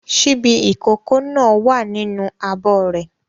Ṣíbí ìkókó náà wà nínú abọ́ rẹ̀.